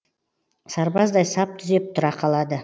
сарбаздай сап түзеп тұра қалады